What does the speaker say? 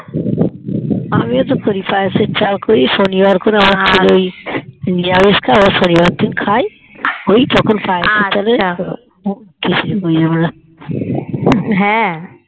আমিও তো করি পায়েসের চাল করি শুনিবার করে ওই আমার ওই নিরামিষ খেয়ে ওই